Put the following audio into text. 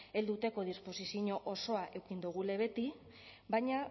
helduteko disposizio osoa eduki dugula beti baina